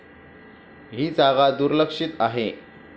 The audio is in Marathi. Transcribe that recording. ही जागा दुर्लक्षित आहे.